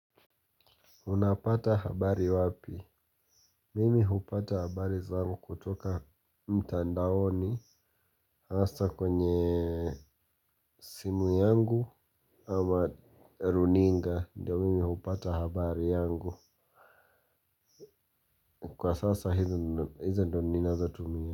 Unapata habari wapi. Mimi hupata habari zangu kutoka mtandaoni hasa kwenye simu yangu ama runinga ndio mimi hupata habari yangu. Kwa sasa hizo ndonina zo tumia.